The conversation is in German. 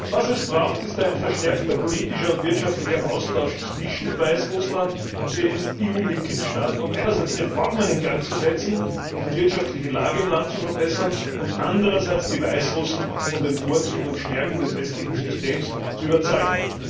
Was es braucht, ist ein verstärkter politischer und wirtschaftlicher Austausch zwischen Weißrussland und den EU Mitgliedstaaten, um einerseits Reformen in Gang zu setzen und die wirtschaftliche Lage im Land zu verbessern und andererseits die Weißrussen von den Vorzügen und Stärken des westlichen Systems zu überzeugen.